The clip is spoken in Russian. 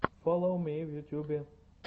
фоллоу ми в ютубе